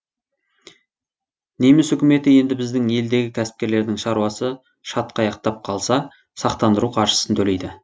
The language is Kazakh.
неміс үкіметі енді біздің елдегі кәсіпкерлердің шаруасы шатқаяқтап қалса сақтандыру қаржысын төлейді